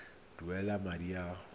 duela madi a a salatseng